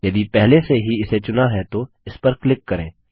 यदि पहले से ही इसे चुना है तो इस पर क्लिक करें